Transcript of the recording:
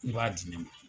I b'a di ne ma